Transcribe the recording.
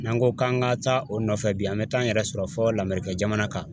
N'an ko k'an ka taa o nɔfɛ bi an bɛ taa an yɛrɛ sɔrɔ fo lamɛrikɛn jamana kan